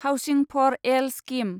housing for all scheme